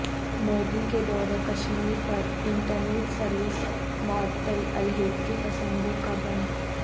مودی کے دورہ کشمیر پر انٹر نیٹ سرویس معطل علحدگی پسندوں کا بند